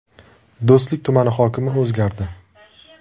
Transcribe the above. Do‘stlik tumani hokimi o‘zgardi.